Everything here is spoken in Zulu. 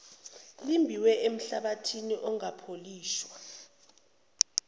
elimbiwe enhlabathini ungapholishwa